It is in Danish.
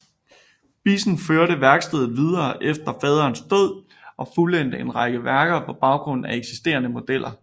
Bissen førte værkstedet videre efter faderens død og fuldendte en række værker på baggrund af eksisterende modeller